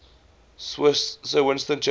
sir winston churchill